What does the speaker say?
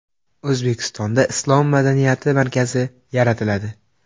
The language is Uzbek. O‘zbekistonda islom madaniyati markazi yaratiladi.